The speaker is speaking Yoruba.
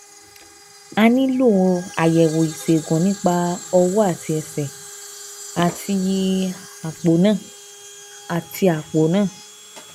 A nílò àyẹ̀wò ìṣègùn nípa ọwọ́ àti ẹsẹ̀, àti àpò náà àti àpò náà